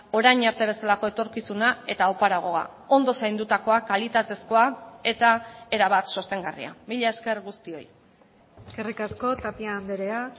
orain arte bezalako etorkizuna eta oparagoa ondo zaindutakoak kalitatezkoa eta erabat sostengarria mila esker guztioi eskerrik asko tapia andrea